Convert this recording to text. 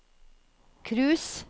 cruise